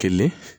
Kelen